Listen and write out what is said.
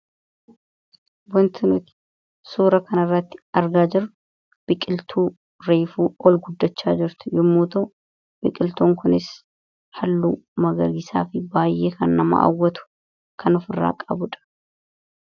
Wanti nuti suuraa kanarratti argaa jirru biqiltuu reefuu ol guddachaa jirtu yommuu ta'u, biqiltuun kunis halluu magariisaa fi baay'ee kan nama hawwatu kanofirraa qabudha.